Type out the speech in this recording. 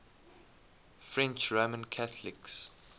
french roman catholics